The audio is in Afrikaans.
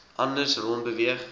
anders rond beweeg